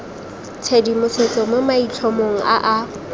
tshedimosetso mo maitlhomong a a